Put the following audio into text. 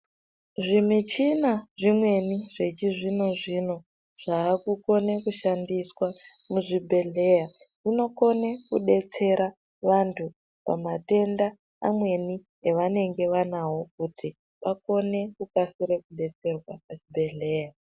Zvimichina zvemene zvechizvino zvino zvakukone kushandiswa muzvibhedhlera zvinokone kubetsere vantu pamatenda mamweni avanenge vanawo kuti vakone vakwanise kukasire kubetserwa pachibhedhlera.